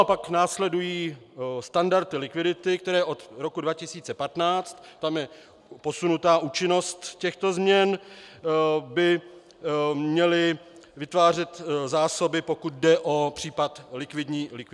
A pak následují standardy likvidity, které od roku 2015 - ta je posunutá účinnost těchto změn - by měly vytvářet zásoby, pokud jde o případ likvidní krize.